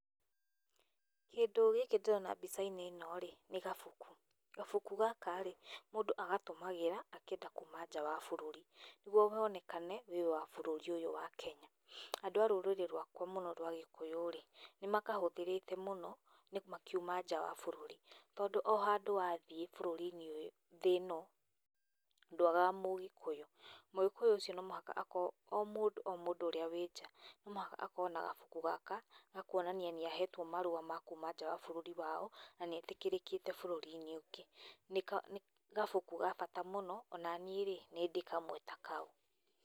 Kĩndũ gĩkĩ ndĩrona mbica-inĩ ĩno-rĩ nĩ kabuku, gabuku gaka mũndũ agatũmagĩra akĩenda kuma nja wa bũrũri nĩguo wonekane ũrĩ wa bũrũri ũyũ wa Kenya. Andũ a rũrĩrĩ rwakwa rwa gĩkũyũ-rĩ nĩmakahũthĩrĩte mũno makiuma nja wa bũrũri tondũ ohandũ wathiĩ thĩ ĩno ndũagaga mũgĩkũyũ. Mũgĩkũyũ ũcio no mũhaka akorwo, o mũndũ o mũndũ ũrĩa ũrĩnja no mũhaka akorwo na gabuku gaka gakũonania nĩ ahetwo marũa ma kũma bũrũri-inĩ wao na nĩ etĩkĩrĩkĩte bũrũri-inĩ ũngĩ. Nĩ gabuku gabata mũno, onaniĩ-rĩ, nĩndĩ kamwe takau.